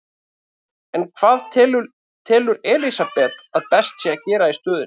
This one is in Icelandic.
En hvað telur Elísabet að best sé að gera í stöðunni?